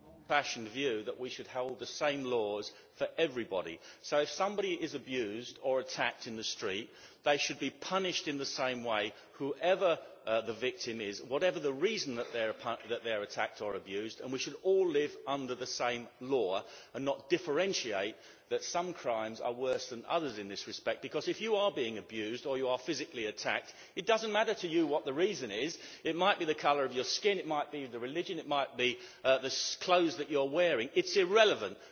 I hold the old fashioned view that we should have the same laws for everybody, so if somebody is abused or attacked in the street, they should be punished in the same way, whoever the victim is and whatever the reason that they are attacked or abused. We should all live under the same law and not differentiate that some crimes are worse than others in this respect, because if you are being abused or you are physically attacked, it does not matter to you what the reason is it might be the colour of your skin, it might be religion, it might be the clothes that you are wearing it is irrelevant.